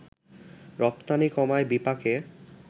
রপ্তানি কমায় বিপাকে